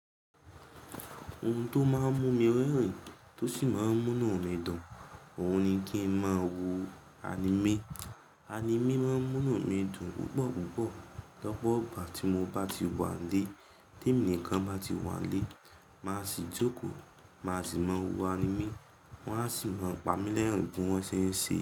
Ohun tó máa ń mú mi rérin tó sì máa ń múnu mi dùn, òun ni kí n máa wo anime. Anime máa ń múna mi dùn púpọ̀ púpọ̀. Lọ́pọ́ igbàá tí mo bá ti wà nílé, témi nìkan bá ti wà nílé, màá sì jókòó, màá sì máa wo anime. Wọ́n á sì máa ń pa mi lérùn bí wọ́n ṣe ń ṣe.